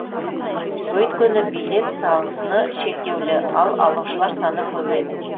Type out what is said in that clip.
өйткені билет саны шектеулі ал алушылар саны көп еді